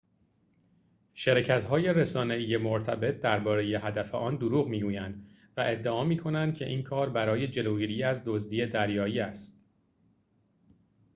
شرکت‌های رسانه‌ای مرتب درباره هدف آن دروغ می‌گویند و ادعا می‌کنند که این کار برای جلوگیری از دزدی دریایی است